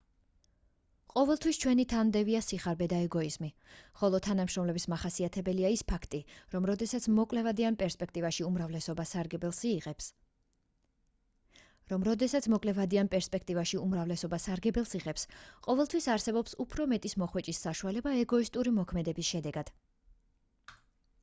ყოველთვის ჩვენი თანმდევია სიხარბე და ეგოიზმი ხოლო თანამშრომლობის მახასიათებელია ის ფაქტი რომ როდესაც მოკლევადიან პერსპექტივაში უმრავლესობა სარგებელს იღებს ყოველთვის არსებობს უფრო მეტის მოხვეჭის საშუალება ეგოისტური მოქმედებების შედეგად